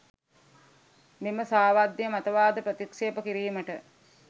මෙම සාවද්‍ය මතවාද ප්‍රතික්‍ෂේප කිරීමට